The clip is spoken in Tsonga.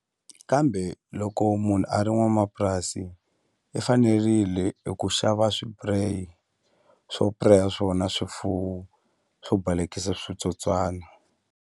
Kambe loko munhu a ri n'wanamapurasi i fanerile hi ku xava swipureyi swo pireya swona swifuwo swo balekile switsotswana.